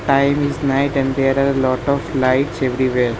Time is night and there are lot of lights everywhere .